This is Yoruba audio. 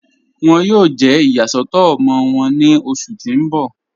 Wọn yóò jẹ́ iyàsọ̀tọ̀ ọmọ wọn ní ọṣù tí n bọ̀.